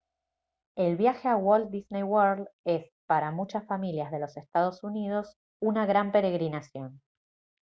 el viaje a walt disney world es para muchas familias de los estados unidos una gran peregrinación